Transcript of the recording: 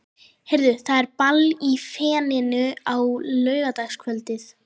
Heyrðu, það er ball í Feninu á laugardagskvöldið.